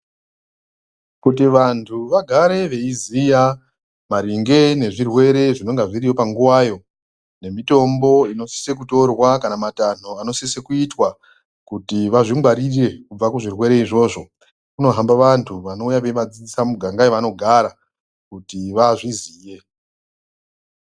Kuti vantu vagare veiziya maringe nezvirwere zvinonga zviriyo panguwayo nemitombo inosise kutorwa kana matanho anosisa kuitwa kuti vazvingwarire kubva kuzvirwere izvozvo Kunohamba vantu vanouya veivadzidzisa mumiganga yavanogara kuti vazviziye.